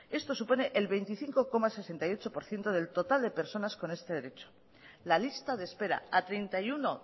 esto supone el veinticinco coma sesenta y ocho por ciento del total de personas con este derecho la lista de espera a treinta y uno